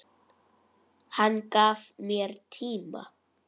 Hann gaf mér tíma.